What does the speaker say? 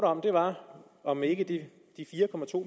om var om ikke de fire